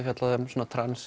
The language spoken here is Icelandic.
fjallað um svona